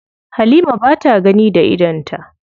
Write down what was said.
Halima ba ta gani da idonta.